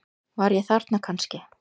Var ég þarna kannski?